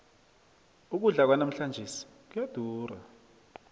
ukudla kwanamhlanjesi kuyadura